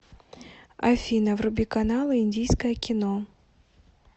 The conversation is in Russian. афина вруби каналы индийское кино